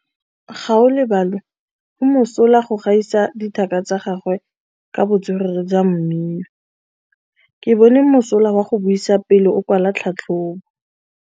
Gaolebalwe o mosola go gaisa dithaka tsa gagwe ka botswerere jwa mmino. Ke bone mosola wa go buisa pele o kwala tlhatlhobô.